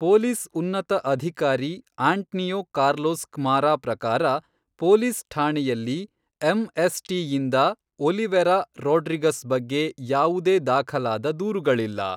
Police ಉನ್ನತ ಅಧಿಕಾರಿ Antonio Carlos Camara ಪ್ರಕಾರ, ಪೊಲೀಸ್ ಠಾಣೆಯಲ್ಲಿ ಎಂ.ಎಸ್.ಟಿ ಯಿಂದ ಒಲಿವೇರಾ ರೋಡ್ರಿಗಸ್ ಬಗ್ಗೆ ಯಾವುದೇ ದಾಖಲಾದ ದೂರುಗಳಿಲ್ಲ.